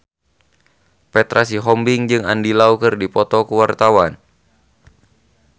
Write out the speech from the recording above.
Petra Sihombing jeung Andy Lau keur dipoto ku wartawan